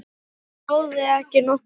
Það sá þig ekki nokkur maður!